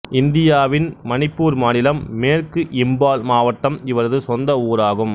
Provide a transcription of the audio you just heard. இந்தியாவின் மணிப்பூர் மாநிலம் மேற்கு இம்பால் மாவட்டம் இவரது சொந்த ஊராகும்